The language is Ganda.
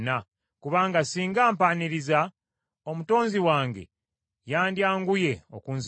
Kubanga singa mpaaniriza, Omutonzi wange yandyanguye okunziggyawo.”